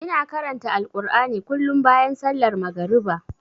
Ina karanta Alkur'ani kullum bayan sallar magariba.